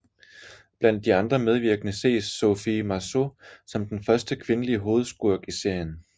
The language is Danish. Blandt de andre medvirkende ses Sophie Marceau som den første kvindelige hovedskurk i serien